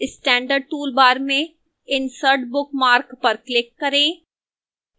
standard toolbar में insert bookmark पर click करें